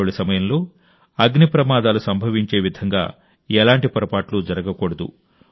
దీపావళి సమయంలో అగ్నిప్రమాదాలు సంభవించేవిధంగా ఎలాంటి పొరపాట్లూ జరగకూడదు